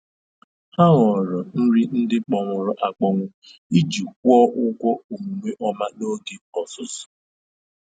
Ha họọrọ nri ndị kpọnwụrụ akpọnwụ iji kwụọ ụgwọ omume ọma n'oge ọzụzụ.